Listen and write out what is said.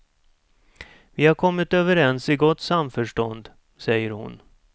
Vi har kommit överens i gott samförstånd, säger hon.